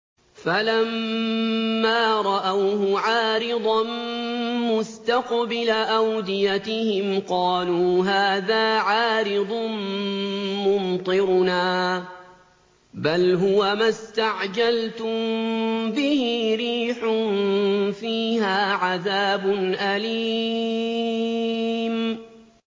فَلَمَّا رَأَوْهُ عَارِضًا مُّسْتَقْبِلَ أَوْدِيَتِهِمْ قَالُوا هَٰذَا عَارِضٌ مُّمْطِرُنَا ۚ بَلْ هُوَ مَا اسْتَعْجَلْتُم بِهِ ۖ رِيحٌ فِيهَا عَذَابٌ أَلِيمٌ